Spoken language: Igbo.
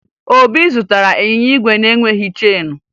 Obi zụtara ịnyịnya igwe na-enweghi cheenu